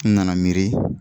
N nana miiri